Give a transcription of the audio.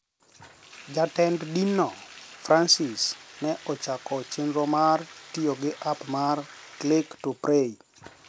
Jatend dinno, Francis, ne ochako chenro mar tiyo gi app mar " Click to Pray"